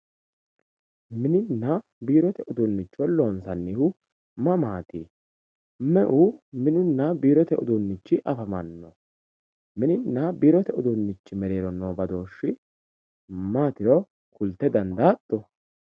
mininna biirote uduunnicho loonsannihu maati me"u mininna biirote uduunnichi afamanno mininna biirote uduunnichi giddo noo badooshshi maatiro kulte dandaatto.